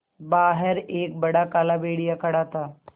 बाहर एक बड़ा काला भेड़िया खड़ा था